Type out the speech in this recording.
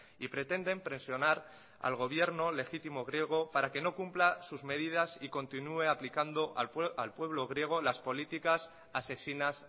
y pretenden presionar al gobierno legítimo griego para que no cumpla sus medidas y continúe aplicando al pueblo griego las políticas asesinas